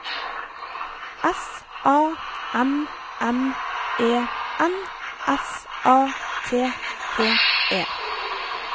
S A M M E N S A T T E